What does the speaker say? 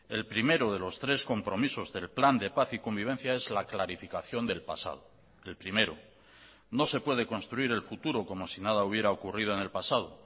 el primero de los tres compromisos del plan de paz y convivencia es la clarificación del pasado el primero no se puede construir el futuro como si nada hubiera ocurrido en el pasado